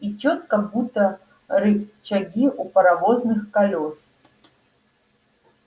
и чётко будто рычаги у паровозных колёс